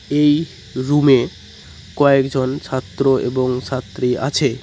এই রুমে -এ কয়েকজন ছাত্র এবং ছাত্রী আছে।